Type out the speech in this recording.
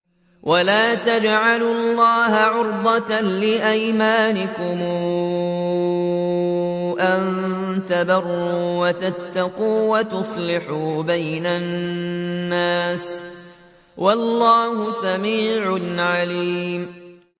وَلَا تَجْعَلُوا اللَّهَ عُرْضَةً لِّأَيْمَانِكُمْ أَن تَبَرُّوا وَتَتَّقُوا وَتُصْلِحُوا بَيْنَ النَّاسِ ۗ وَاللَّهُ سَمِيعٌ عَلِيمٌ